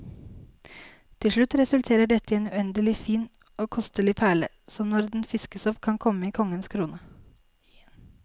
Til slutt resulterer dette i en uendelig fin og kostelig perle, som når den fiskes opp kan komme i en konges krone.